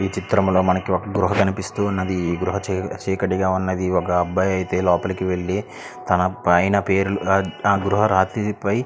ఈ చిత్రం లో మనకి ఒక గుర్హ కనిపిస్తూ వున్నది చాల చిక్కటి గ అయతె వునాది ఒక అబ్బాయి అయతె లోపలికి వేల్లుతునాడు ఆ అబ్బాయి ఆ పైన పేరు ఆ గుర్హ రాతిరి పై--